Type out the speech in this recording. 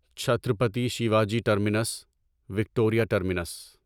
Chhatrapati Shivaji terminus Victoria terminus